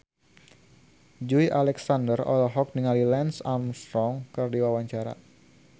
Joey Alexander olohok ningali Lance Armstrong keur diwawancara